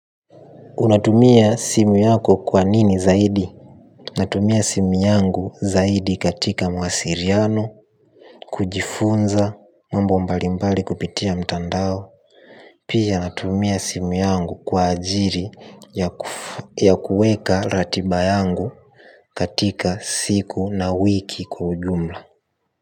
Unatumia simu yako kwa nini zaidi natumia simu yangu zaidi katika mawasiriano. Kujifunza mambo mbalimbali kupitia mtandao. Pia natumia simu yangu kwa ajiri ya kuweka ratiba yangu katika siku na wiki kwa ujumla.